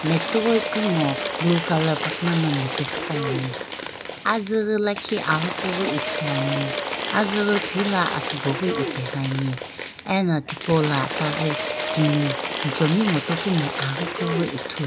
metsughpi ku ngo blue colour pakuma no nupe qhipuani azüghi lakhi aghi kughi ithuluani azüghi phila asubo ghi ipighi ani ena tipaula itaghi timi muchomi ngo topumi aghi kughi ithuluani.